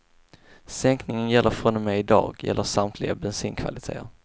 Sänkningen gäller från och med i dag och gäller samtliga bensinkvaliteter.